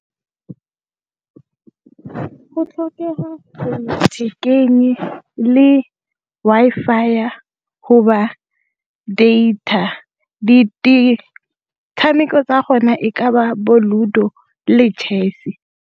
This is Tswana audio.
Go tlhokega le Wi-Fi go ba data, di tshameko tsa go na e ka ba bo ludo-o le chess-e.